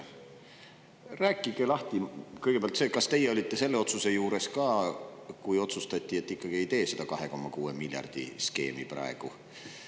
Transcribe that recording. Rääkige lahti kõigepealt see, kas teie olite selle otsuse juures ka, kui otsustati, et ikkagi ei tee seda 2,6 miljardi skeemi praegu.